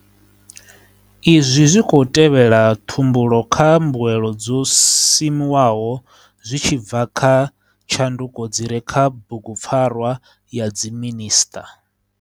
Izwi zwi khou tevhela ṱhumbu lo kha mbuelo dzo simuwaho zwi tshi bva kha tshanduko dzi re kha Bugupfarwa ya Dziminisṱa.